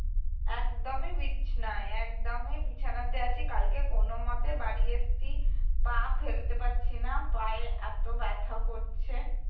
একদমই বিছানায় একদমই বিছানাতে আছি কালকে কোনওমতে বাড়ি এসেছি পা ফেলতে পারছিনা পায়ে এত ব্যথা করছে